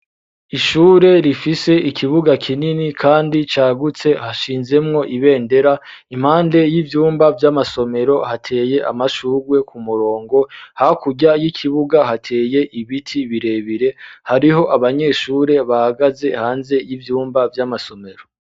Ishure rifise ikibuga kinini, kandi cagutse hashinzemwo ibendera impande y'ivyumba vy'amasomero hateye amashurwe ku murongo hakurya y'ikibuga hateye ibiti birebire hariho abanyeshure bagaze hanze y'ivyumba vy'amasomero.